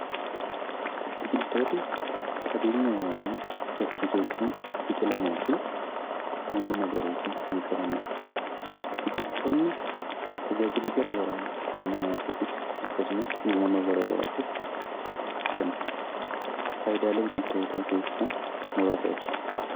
Biqiltooti qabeenya uumamaa dachee keessaa biqalanii fi halluu magariisa kan qabanii dha. Biqiltoonni tajaajila garaa garaa dhala namaatiifis akkasumas uumama garaa garaatiif kennu. Faayidaalee biqiltootaa keessaa muraasa ibsi.